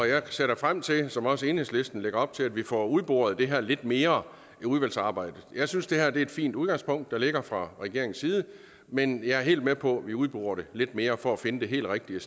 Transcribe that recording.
jeg ser da frem til som også enhedslisten lægger op til at vi får udboret det her lidt mere i udvalgsarbejdet jeg synes at det er et fint udgangspunkt der ligger fra regeringens side men jeg er helt med på at vi udborer det lidt mere for at finde det helt rigtige